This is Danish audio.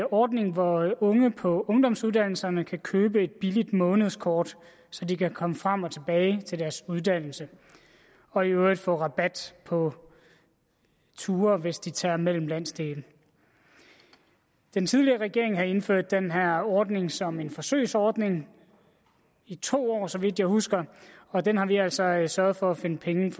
ordning hvor unge på ungdomsuddannelserne kan købe et billigt månedskort så de kan komme frem og tilbage til deres uddannelse og i øvrigt få rabat på ture hvis de tager mellem landsdele den tidligere regering har indført den her ordning som en forsøgsordning i to år så vidt jeg husker og den har vi altså sørget for at finde penge